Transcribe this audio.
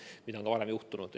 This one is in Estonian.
Seda on ka varem juhtunud.